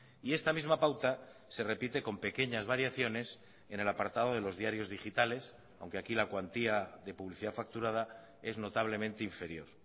y esta misma pauta se repite con pequeñas variaciones en el apartado de los diarios digitales aunque aquí la cuantía de publicidad facturada es notablemente inferior